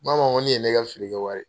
Ba ma ko ne ye ne ka feere kɛ wari